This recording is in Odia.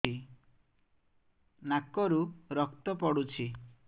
ନାକରୁ ରକ୍ତ ପଡୁଛି